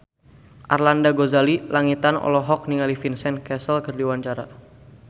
Arlanda Ghazali Langitan olohok ningali Vincent Cassel keur diwawancara